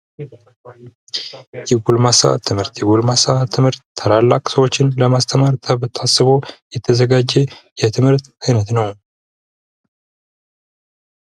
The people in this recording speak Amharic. የጎልማሳ ትምህርት የጎልማሳ ትምህርት ታላላቅ ሰዎችን ለማስተማር ታስቦ የተዘጋጀ የትምህርት አይነት ነው።